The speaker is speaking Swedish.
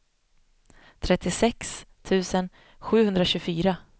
trettiosex tusen sjuhundratjugofyra